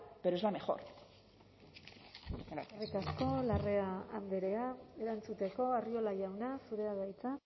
pero es la mejor eskerrik asko larrea andrea erantzuteko arriola jauna zurea da hitza